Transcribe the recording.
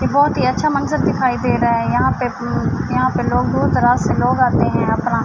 یہ بھوت ہی اچھا منظر دکھائی دے رہا ہے۔ یہاں پی یہاں پی لوگ دور دراز سے لوگ آتے ہے اپنا--